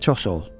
Çox sağ ol.